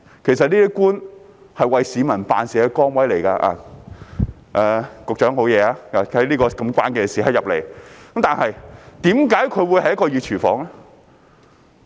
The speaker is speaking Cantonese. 其實，官員是為市民辦事的崗位——局長沒事，他在這個關鍵時刻進來——可是，為何這會是一個"熱廚房"呢？